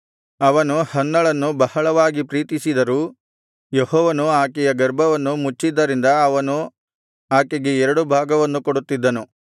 ಅವನು ಹನ್ನಳನ್ನು ಬಹಳವಾಗಿ ಪ್ರೀತಿಸಿದರೂ ಯೆಹೋವನು ಆಕೆಯ ಗರ್ಭವನ್ನು ಮುಚ್ಚಿದ್ದರಿಂದ ಅವನು ಆಕೆಗೆ ಎರಡು ಭಾಗವನ್ನು ಕೊಡುತ್ತಿದ್ದನು